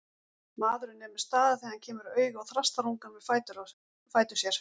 Maðurinn nemur staðar þegar hann kemur auga á þrastarungann við fætur sér.